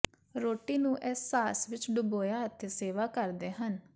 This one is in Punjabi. ਰੋਟੀ ਨੂੰ ਇਸ ਸਾਸ ਵਿੱਚ ਡੁਬੋਇਆ ਅਤੇ ਸੇਵਾ ਕਰਦੇ ਹਨ